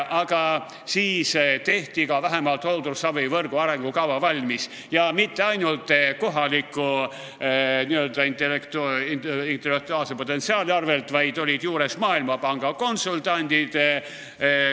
Aga siis tehti vähemalt hooldusravivõrgu arengukava valmis ja mitte ainult kohaliku n-ö intellektuaalse potentsiaali abil, vaid juures olid Maailmapanga konsultandid.